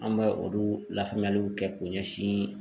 An bɛ olu lafaamuyaliw kɛ k'o ɲɛsin